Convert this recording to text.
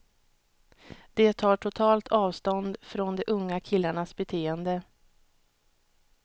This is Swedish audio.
De tar totalt avstånd från de unga killarnas beteende.